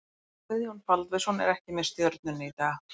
Guðjón Baldvinsson er ekki með Stjörnunni í dag.